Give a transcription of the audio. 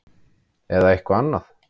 Eða eitthvað annað?